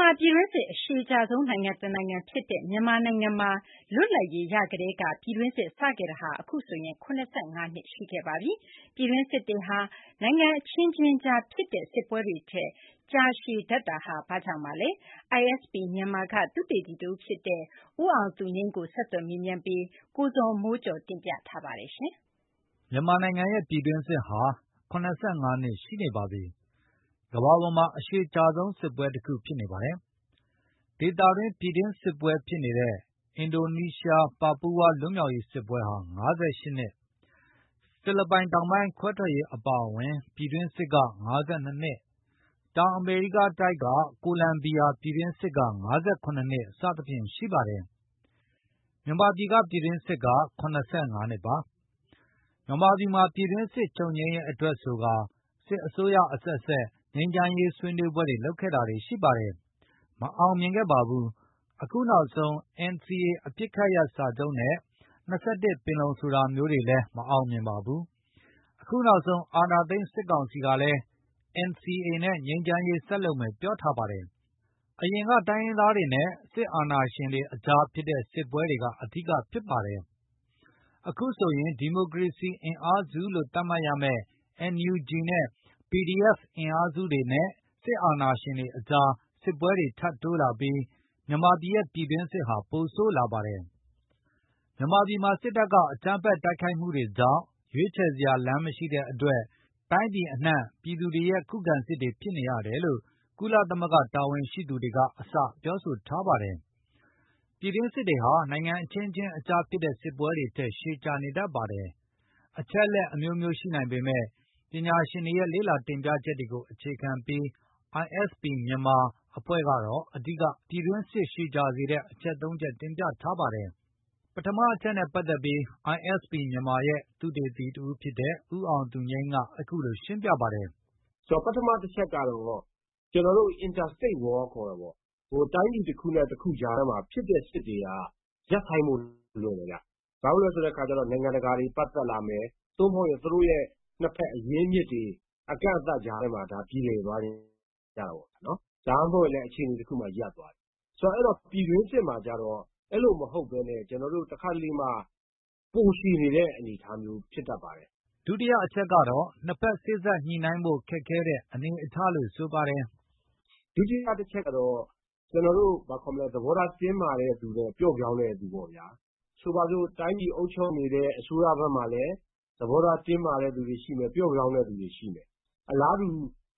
မှာ ပြည်တွင်းစစ်အရှည်ကြာဆုံးနိုင်ငံတနိုင်ငံဖြစ်နေပါတယ်။လွတ်လပ်ရေး ရကတည်းက ပြည်တွင်းစစ်စတင်ဖြစ်ပွားခဲ့တာဖြစ်ပြီး နှစ်ပေါင်း ၇၅ နှစ်ရှိပြီဖြစ်ပါတယ်။ ပြည်တွင်းစစ် တွေဟာ နိုင်ငံတွေအခြင်းခြင်းအကြားဖြစ်ပွားတဲ့စစ်ပွဲတွေထက်ရှည်ကြာတတ်ပါတယ်။ ဘာကြောင့်ပါလဲ။ကိုဇော်မိုးကျော်က ISP မြန်မာမှ သုတေသီတဦးဖြစ်တဲ့ ဦးအောင်သူငြိမ်း ကို ဆက်သွယ် မေးမြန်းပြီးတင်ပြထားပါတယ်။ မြန်မာနိုင်ငံရဲ့ပြည်တွင်းစစ်ဟာ ၇၅ နှစ်ရှိနေပါပြီ၊ ကမ္ဘာပေါ်မှာအရှည်ကြာဆုံးစစ်ပွဲတခုဖြစ်နေပါတယ်။ ဒေသတွင်းပြည်တွင်းစစ်ပွဲဖြစ်နေတဲ့ အင်ဒိုနီးရှားပါပူးဝါးလွတ်မြောက်ရေးစစ်ပွဲဟာ ၅၈ နှစ်၊ ဖိလစ်ပိုင် တောင်ပိုင်းခွဲထွက်ရေးအပါအဝင်ပြည်တွင်းစစ် ၅၂ နှစ်၊ တောင်အမေရီးကားတိုက်က ကိုလံဘီယာ ပြည်တွင်းစစ် ၅၇ နှစ် စသည်ဖြင့်ရှိပါတယ်။ မြန်မာပြည်တွင်းစစ်က ၇၅ နှစ်ပါ။ မြန်မာပြည်မှာ ပြည်တွင်းစစ်ချုပ်ငြိမ်းရေးအတွက်ဆိုကာ စစ်အစိုးရအဆက်ဆက်ငြိမ်းချမ်းရေးဆွေးနွေး ပွဲတွေလုပ်ခဲ့တာတွေရှိပါတယ်။ မအောင်မြင်ခဲ့ပါဘူး အခုနောက်ဆုံး NCA အပစ်ရပ်စာချုပ်နဲ့ ၂၁ ပင်လုံ ဆိုတာမျိုးတွေလည်းမအောင်မြင်ပါဘူး။ အခုနောက်ဆုံး အာဏာသိမ်း စစ်ကောင်စီကလည်း NCA နဲ့ငြိမ်းချမ်းရေးဆက်လုပ်မယ်ပြောထားပါတယ်။ အရင်က တိုင်းရင်းသားတွေနဲ့ စစ်အာဏာရှင်တွေ အကြားဖြစ်တဲ့စစ်ပွဲတွေကအဓိကဖြစ်ပါတယ်၊ အခုဆိုရင် ဒီမိုကရေစီအင်အားစုလို့ သတ်မှတ်ရမယ့် NUG နဲ့ PDF အင်အားစုတွေနဲ့ စစ်အာဏာရှင်တွေအကြားစစ်ပွဲတွေထပ်တိုးလာပြီး မြန်မာပြည်ရဲ့ ပြည်တွင်းစစ်ဟာပိုဆိုးလာပါတယ်။ မြန်မာပြည်မှာ စစ်တပ်ကအကြမ်းဖက်တိုက်ခိုက်မှုတွေကြောင့် ရွေးချယ်စရာလမ်းမရှိတဲ့အတွက် တိုင်းပြည်အနှံပြည်သူတွေရဲ့ခုခံစစ်တွေဖြစ်နေရတယ်လို့ ကုလသမဂ္ဂ တာဝန်ရှိသူတွေကအစပြောဆိုထားပါတယ်။ ပြည်တွင်းစစ်တွေဟာ နိုင်ငံအခြင်းခြင်းအကြားဖြစ်တဲ့စစ်ပွဲတွေထက်ရှည်ကြာနေတတ်ပါတယ်။ အချက် အလက်အမျိုးမျိုးရှိနိုင်ပေမယ့် ပညာရှင်တွေရဲ့ လေ့လာတင်ပြချက်တွေကို အခြေခံပြီးတော့ ISP မြန်မာ အဖွဲ့ကတော့ အဓိက ပြည်တွင်းစစ်ရှည်ကြာစေတဲ့ အချက် ၃ချက်တင်ပြထားပါတယ်။ ပထမအချက်နဲ့ပတ်သက်ပြီး ISP မြန်မာအဖွဲ့ရဲ့သုတေသီတဦးဖြစ်တဲ့ ဦးအောင်သူငြိမ်းက အခုလိုရှင်း ပြပါတယ်။ “ဆိုတော့ပထမတချက်ကတော့ ကျနော်တို့ Interstate War ခေါ်တာပေါ့၊ ဟိုတိုင်းပြည်တခုနဲ့ တခုကြား ဖြစ်တဲ့စစ်တွေကရပ်ဆိုင်ဖို့လွယ်တယ်ခင်ဗျ၊ ဘာဖြစ်လို့လဲဆိုတဲ့အခါကျတော့ နိုင်ငံတကာ တွေပတ် သက်လာမယ်။ သို့မဟုတ်ရင်သူတို့နှစ်ဘက်အရင်းအမြစ်တွေ အကန့်အသတ်တွေကြား ထဲမှာပြေလည်သွားကြတာပေါ့၊ ဒါမှမဟုတ်ရင်လည်း အခြေအနေတခုအကြားမှာရပ်သွားတယ်။ ဆိုတော့ ပြည်တွင်းစစ်မှာကျတော့အဲလိုမဟုတ်ဘဲနဲ့ ကျနော်တို့တခါတလေမှာပိုရှည် နေတဲ့အနေ အထားမျိုးဖြစ်တတ်ပါတယ်။” ဒုတိယအချက်ကတော့ နှစ်ဘက်စေ့စပ်ညှိနိုင်းဖို့ခက်ခဲတဲ့အနေအထားလို့ဆိုပါတယ်။ “ဒုတိယအချက်ကတော့ ကျနော်တို့ဘာခေါ်မလဲ သဘောထားပျော့်ပြောင်းတဲ့သူနဲ့တင်းမာတဲ့ သူပေါ့ဗျာ၊ ဆိုပါစို့ တိုင်းပြည်အုပ်ချုပ်နေတဲ့ အစိုးရဘက်မှာလည်း သဘောထားတင်းမာတဲ့သူ တွေရှိမယ် သဘောထားပျော့ပြောင်းတဲ့သူတွေရှိမယ်။ အလားတူ